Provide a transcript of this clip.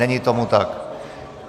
Není tomu tak.